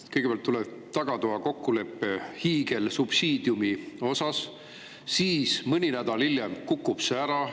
Kõigepealt tuleb tagatoakokkulepe hiigelsubsiidiumi kohta, mõni nädal hiljem kukub see ära.